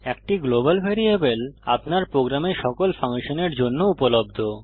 একটি global variable আপনার প্রোগ্রামে সকল ফাংশনের জন্য উপলব্ধ